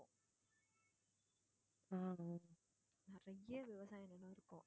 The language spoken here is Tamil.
அஹ் நிறைய விவசாய நிலம் இருக்கும்.